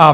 a)